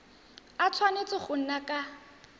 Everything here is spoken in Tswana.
a tshwanetse go nna ka